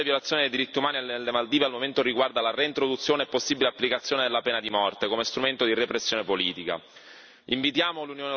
Tuttavia la peggiore violazione dei diritti umani nelle Maldive al momento riguarda la reintroduzione e la possibile applicazione della pena di morte come strumento di repressione politica.